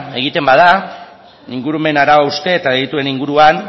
egiten bada ingurumen arau hauste eta delituen inguruan